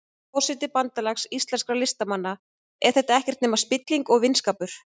Forseti Bandalags íslenskra listamanna, er þetta ekkert nema spilling og vinskapur?